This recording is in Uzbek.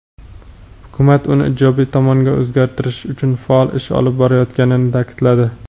hukumat uni ijobiy tomonga o‘zgartirish uchun faol ish olib borayotganini ta’kidladi.